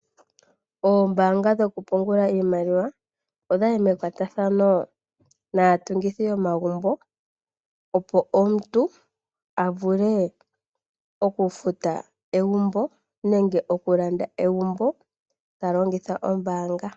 Oombaanga dhoku pungula iimaliwa odhayi mekwatathano naatungithi yomagumbo opo omuntu a vule oku futa egumbo nenge okulanda egumbo ta longitha ombaanga.